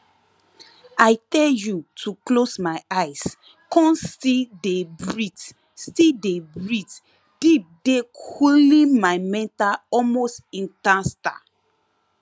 i tell you to close my eyes con still dey breath still dey breath deep dey coole my mental almost instanta